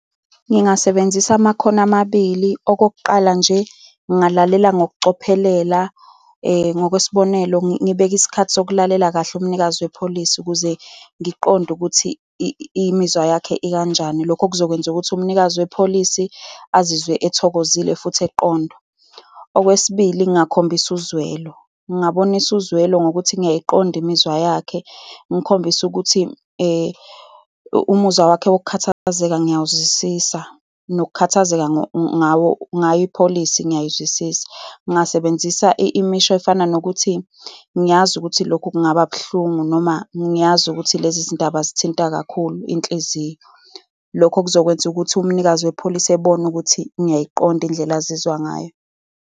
Ngingasebenzisa amakhono amabili. Okokuqala nje, ngingalalela ngokucophelela. Ngokwesibonelo, ngibeke isikhathi sokulalela kahle umnikazi we-policy ukuze ngiqonde ukuthi imizwa yakhe ikanjani, lokho okuzokwenza ukuthi umnikazi we-policy azizwe ethokozile, futhi eqonda. Okwesibili, ngongakhombisa uzwelo. Ngingabonisa uzwelo ngokuthi ngiyayiqonda imizwa yakhe. Ngikhombise ukuthi umuzwa wakhe wokukhathazeka ngiyakuzwisisa, nokukhathazeka ngawo ngayo ipolicy ngiyakuzwisisa. Ngingasebenzisa imisho ezifana nokuthi, ngiyazi ukuthi lokho kungaba buhlungu, noma ngiyazi ukuthi lezi zindaba zithinta kakhulu iy'nhliziyo. Lokho kuzokwenza ukuthi umnikazi we-policy ebone ukuthi ngiyayiqonda indlela azizwa ngayo.